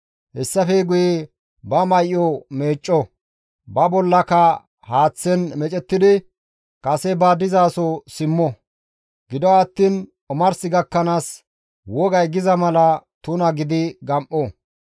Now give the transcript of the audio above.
Hessafe guye ba may7o meecco; ba bollaka haaththen meecettidi kase ba dizaso simmo; gido attiin omars gakkanaas wogay giza mala tuna gidi gam7o.